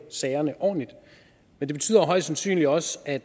sagerne ordentligt men det betyder højst sandsynligt også at